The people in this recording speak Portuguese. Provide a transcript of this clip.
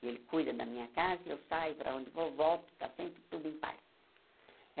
Ele cuida da minha casa, eu saio para onde vou, volto, está sempre tudo em paz.